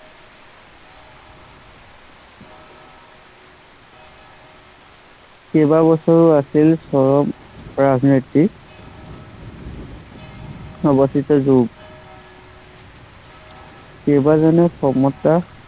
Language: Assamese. কেইবাবছৰো আছিল ৰাজনীতি অৱস্থিত যুগ। কেইবাজনেও কমতা